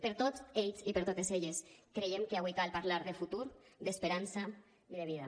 per tots ells i per totes elles creiem que avui cal parlar de futur d’esperança i de vida